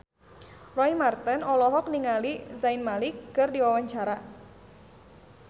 Roy Marten olohok ningali Zayn Malik keur diwawancara